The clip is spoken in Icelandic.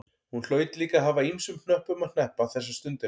Hún hlaut líka að hafa ýmsum hnöppum að hneppa þessa stundina.